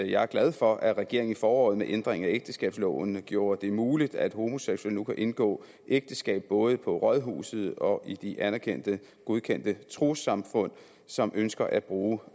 jeg er glad for at regeringen i foråret med ændringen af ægteskabsloven gjorde det muligt at homoseksuelle nu kan indgå ægteskab både på rådhuset og i de anerkendte godkendte trossamfund som ønsker at bruge